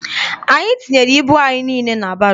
Anyị tinyere ibu anyị niile na baro.